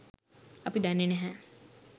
අපි දන්නේ නැහැ